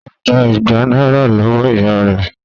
Ó gba ìgbà náírà lọ́wọ́ ìyá rẹ̀